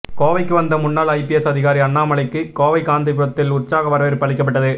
கோவைக்கு வந்த முன்னாள் ஐபிஎஸ் அதிகாரி அண்ணாமலைக்கு கோவை காந்திபுரத்தில் உற்சாக வரவேற்பு அளிக்கப்பட்டது